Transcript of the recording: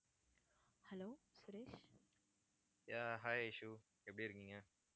yeah hi Aishu எப்படி இருக்கீங்க